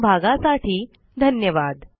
सहभागासाठी धन्यवाद